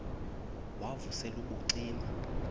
wav usel ubucima